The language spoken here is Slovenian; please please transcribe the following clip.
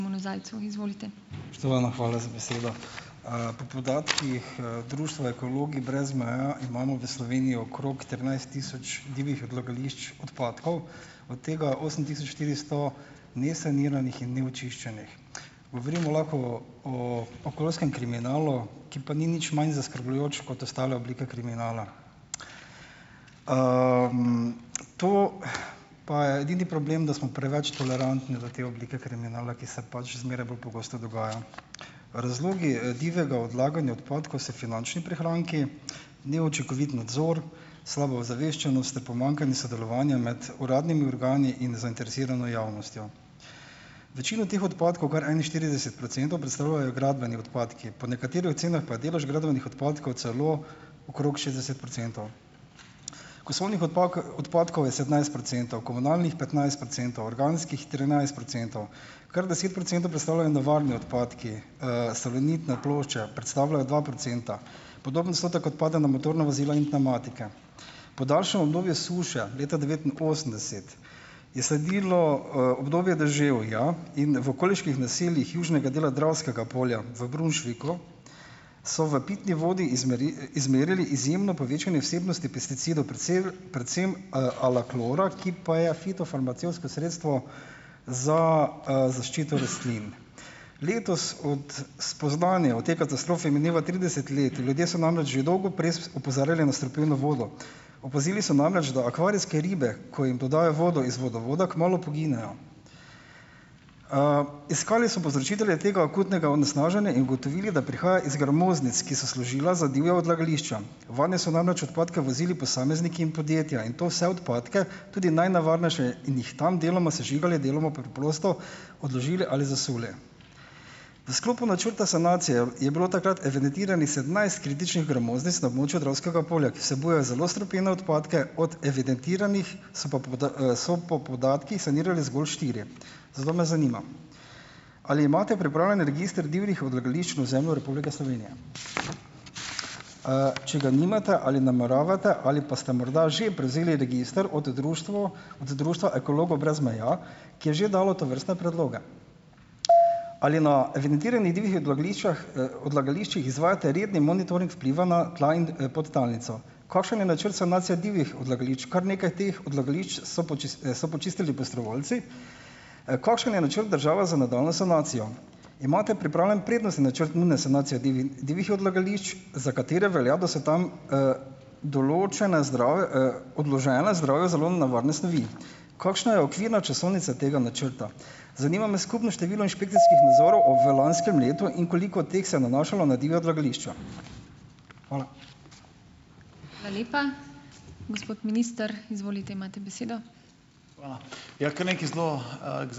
Spoštovana, hvala za besedo . po podatkih, Društva ekologi brez meja imamo v Sloveniji okrog trinajst tisoč divjih odlagališč odpadkov, od tega osem tisoč štiristo nesaniranih in neočiščenih. Govorimo lahko o, o okoljskem kriminalu, ki pa ni nič manj zaskrbljujoč kot ostala oblika kriminala. to, pa je edini problem, da smo preveč tolerantni do te oblike kriminala, ki se pač zmeraj bolj pogosto dogaja. Razlogi, divjega odlaganja odpadkov so finančni prihranki, neučinkovit nadzor, slaba ozaveščenost ter pomanjkanje sodelovanja med uradnimi organi in zainteresirano javnostjo. Večino teh odpadkov, kar enainštirideset procentov, predstavljajo gradbeni odpadki, po nekaterih ocenah pa je delež gradbenih odpadkov celo okrog šestdeset procentov. Kosovnih odpadkov je sedemnajst procentov, komunalnih petnajst procentov, organskih trinajst procentov. Kar deset procentov predstavljajo nevarni odpadki, salonitne plošče predstavljajo dva procenta. Podoben odstotek otpade na motorna vozila in pnevmatike. Po daljšem obdobju suše leta devetinosemdeset je sledilo, obdobje deževja in v okoliških naseljih južnega dela Dravskega polja, v Brunšviku, so v pitni vodi izmerili izjemno povečanje vsebnosti pesticidov, predvsem, alaklora, ki pa je fitofarmacevtsko sredstvo za, zaščito rastlin . Letos od spoznanja o tej katastrofi mineva trideset let. Ljudje so namreč že dolgo prej opozarjali na strupeno vodo. Opazili so namreč, da akvarijske ribe, ko jim dodajo vodo iz vodovoda, kmalu poginejo. iskali so povzročitelje tega akutnega onesnaženja in ugotovili, da prihaja iz gramoznic, ki so služile za divja odlagališča. Vanje so namreč odpadke vozili posamezniki in podjetja in to vse odpadke, tudi najnevarnejše in jih tam deloma sežigali, deloma preprosto odložili ali zasuli. V sklopu načrta sanacije je bilo takrat evidentiranih sedemnajst kritičnih gramoznic na območju Dravskega polja, ki vsebujejo zelo strupene odpadke, od evidentiranih, so pa , so pa podatkih sanirali zgolj štiri. Zato me zanima: ali imate pripravljen register divjih odlagališč na ozemlju Republike Slovenije? če ga nimate , ali nameravate ali pa ste morda že prevzeli register od od društva Ekologov brez meja, ki je že dalo tovrstne predloge. Ali na evidentiranih divjih odlagališčah, odlagališčih izvajate redni monitoring vpliva na tla in, podtalnico? Kakšen je načrt sanacije divjih odlagališč? Kar nekaj teh odlagališč so so počistili prostovoljci. kakšen je načrt države za nadaljnjo sanacijo? Imate pripravljen prednostni načrt nujne sanacije divjih odlagališč, za katere velja, da so tam, določene odložene zdravju zelo nevarne snovi. Kakšna je okvirna časovnica tega načrta? Zanima me skupno število inšpekcijskih nadzorov v lanskem letu in koliko teh se nanašalo na divja odlagališča? Hvala. Hvala lepa. Gospod minister, izvolite, imate besedo.